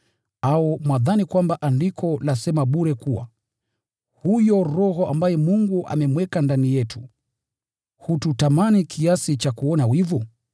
Au mwadhani kwamba Andiko lasema bure kuwa huyo Roho ambaye Mungu amemweka ndani yetu hututamani kiasi cha kuona wivu?